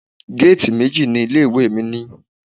Géètì méjì ni ilé ìwé mi ní.